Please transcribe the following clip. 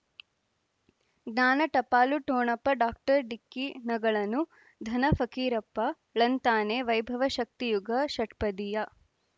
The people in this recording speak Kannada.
ಜ್ಞಾನ ಟಪಾಲು ಠೊಣಪ ಡಾಕ್ಟರ್ ಢಿಕ್ಕಿ ಣಗಳನು ಧನ ಫಕೀರಪ್ಪ ಳಂತಾನೆ ವೈಭವ ಶಕ್ತಿ ಯುಗಾ ಷಟ್ಪದಿಯ